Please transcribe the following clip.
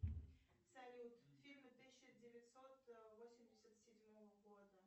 салют фильмы тысяча девятьсот восемьдесят седьмого года